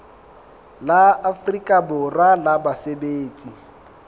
la afrika borwa la basebetsi